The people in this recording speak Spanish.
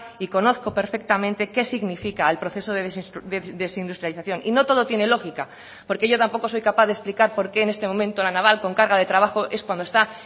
y conozco perfectamente qué significa el proceso de desindustrialización y no todo tiene lógica porque yo tampoco soy capaz de explicar por qué en este momento la naval con carga de trabajo es cuando está